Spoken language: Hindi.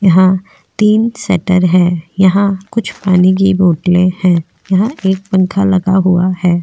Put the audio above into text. यहां तीन शटर है यहां कुछ पानी की बोतले है यहां एक पंखा लगा हुआ है।